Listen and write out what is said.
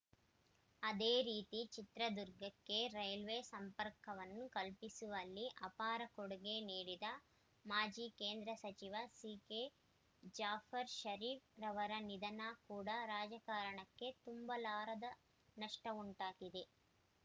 ಅದೇ ರೀತಿ ಚಿತ್ರದುರ್ಗಕ್ಕೆ ರೈಲ್ವೆ ಸಂಪರ್ಕವನ್ನು ಕಲ್ಪಿಸುವಲ್ಲಿ ಅಪಾರ ಕೊಡುಗೆ ನೀಡಿದ ಮಾಜಿ ಕೇಂದ್ರ ಸಚಿವ ಸಿಕೆ ಜಾಫರ್‌ ಷರೀಫ್‌ರವರ ನಿಧನ ಕೂಡ ರಾಜಕಾರಣಕ್ಕೆ ತುಂಬಲಾರದ ನಷ್ಟವುಂಟಾಗಿದೆ